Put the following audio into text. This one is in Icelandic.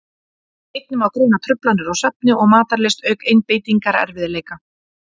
einnig má greina truflanir á svefni og matarlyst auk einbeitingarerfiðleika